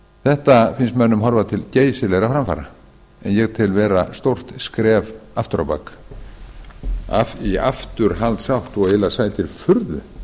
þetta finnst mönnum horfa til geysilegra framfara en ég tel vera stórt skref aftur á bak í afturhaldsátt eiginlega sætir furðu